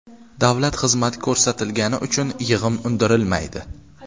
Davlat xizmati ko‘rsatilgani uchun yig‘im undirilmaydi.